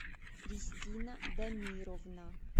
кристина дамировна